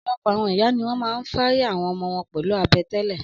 Ọ̀pọ̀lọpọ̀ àwọn ìyá ni wọ́n máa ń fáryb àwọn ọmọ wọn pẹlu abẹ́ tẹ́lẹ̀.